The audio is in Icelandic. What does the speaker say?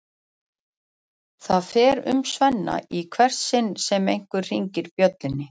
Það fer um Svenna í hvert sinn sem einhver hringir bjöllunni.